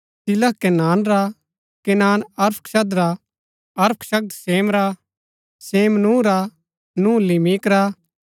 शिलह केनान रा Kenan Arphaxad रा अरफक्षद शेम रा शेम नूह रा नूह लिमिक रा